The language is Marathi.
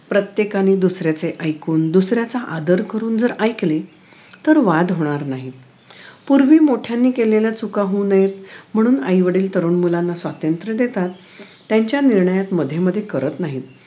प्रत्येकाने दुसऱ्याचे ऐकून दुसऱ्याचा आदर करून जर ऐकले तर वाद होणार नाहीत पूर्वी मोठ्यांनी केलेल्या चुका होऊ नयेत म्हणून आई वडील तरुण मुलांना स्वातंत्र्य देतात त्यांच्या निर्णयात कमध्ये मध्ये करत नाहीत